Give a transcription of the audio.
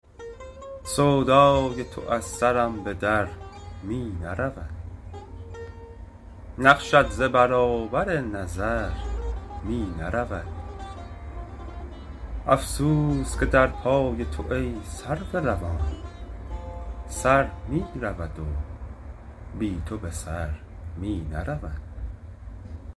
سودای تو از سرم به در می نرود نقشت ز برابر نظر می نرود افسوس که در پای تو ای سرو روان سر می رود و بی تو به سر می نرود